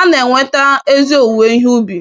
ana enweta ezi owuwe ihe ubi